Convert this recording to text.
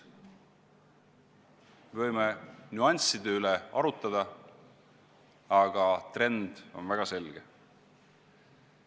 Võime nüansside üle arutada, aga trend on väga selge.